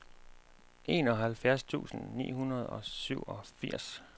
enoghalvfjerds tusind ni hundrede og syvogfirs